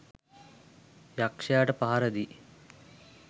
යක්‍ෂයාට පහර දී